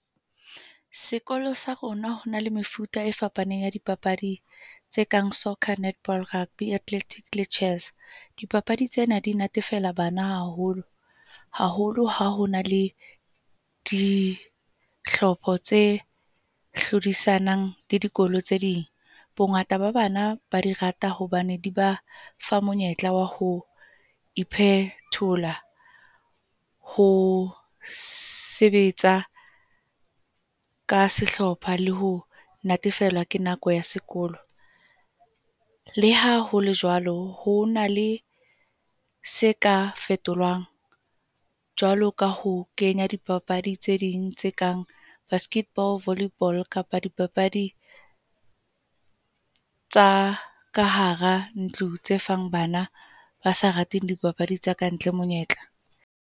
Sekolo sa rona ho na le mefuta e fapaneng ya dipapadi, tse kang soccer, netball, rugby, athletic le chess. Dipapadi tsena di natefela bana haholo. Haholo ha hona le di hlopha tse hlodisanang le dikolo tse ding. Bongata ba bana ba di rata hobane di ba fa monyetla wa ho phethola ho sebetsa ka sehlopha le ho natefelwa ke nako ya sekolo. Le ha hole jwalo, ho na le se ka fetolwang, jwalo ka ho kenya di papadi tse ding tse kang basketball, volley ball kapa dipapadi tsa ka hara ntlo, tse fang bana ba sa rateng di papadi tsa kantle monyetla.